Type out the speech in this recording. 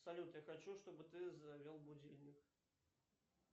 салют я хочу чтобы ты завел будильник